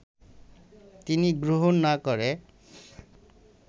তিনি গ্রহণ না করে